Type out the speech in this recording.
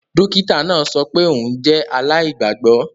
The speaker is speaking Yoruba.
Dokita naa sọ pe oun jẹ alaigbagbọ